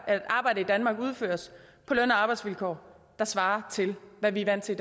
at arbejde i danmark udføres på løn og arbejdsvilkår der svarer til hvad vi er vant til